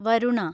Varuna